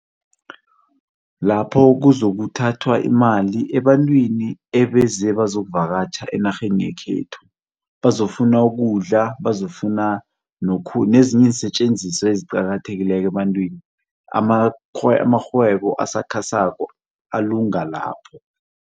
Lapho kuzakuthathwa imali ebantwini ebeze bazokuvakatjha enarheni yekhethu, bazofuna ukudla, bafuna nezinye iinsetjenziswa eziqakathekileko ebantwini, amarhwebo asakhasako alunga lapho.